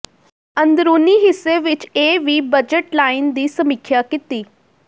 ਅੰਦਰੂਨੀ ਹਿੱਸੇ ਵਿੱਚ ਇਹ ਵੀ ਬਜਟ ਲਾਈਨ ਦੀ ਸਮੀਖਿਆ ਕੀਤੀ